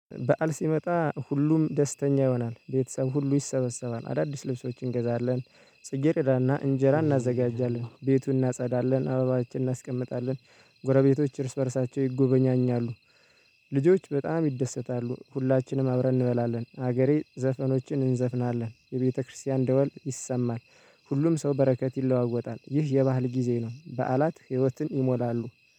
በዓል ሲመጣ ሁሉም ደስተኛ ይሆናል ቤተሰብ ሁሉ ይሰበሰባል አዳዲስ ልብሶችን እንገዛለን። ጽጌረዳ እና እንጀራ እናዘጋጃለን ቤቱን እናጸዳለን አበባችን እናስቀምጣለን። ጎረቤቶች እርስ በእርሳቸው ይጎበኛኛሉ። ልጆች በጣም ይደሰታሉ ሁላችንም አብረን እንበላለን ሀገራዊ ዘፈኖችን እንዘፍናለን የቤተክርስቲያን ደወል ይሰማል። ሁሉም ሰው በረከት ይለዋወጣል ይህ የበአል ጊዜ ነው። በዓላት ህይወትን ይሞላሉ